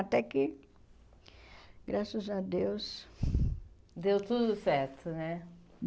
Até que, graças a Deus... Deu tudo certo, né?